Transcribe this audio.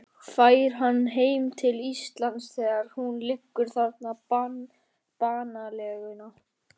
Fær hann heim til Íslands þegar hún liggur þar banaleguna.